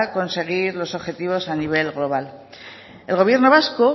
conseguir los objetivos a nivel global el gobierno vasco